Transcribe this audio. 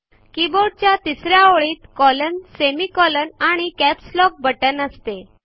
कीबोर्डच्या तिसऱ्या ओळीत कॉलन semicolon आणि कॅप्स लॉक बटन असते